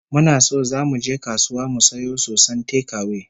Muna so zamu je kasuwa mu sayo soson tekawe